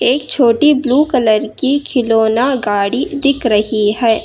एक छोटी blue colour की खिलौना गाड़ी दिख रही है।